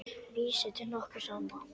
Vísi til nokkurs ama.